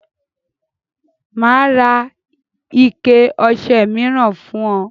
Mà á ra ike ọṣẹ míràn fún ọ.